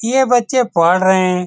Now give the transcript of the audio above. ये बच्चे पढ़ रहे हैं।